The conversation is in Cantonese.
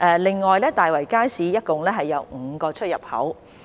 另外，大圍街市共有5個出入口。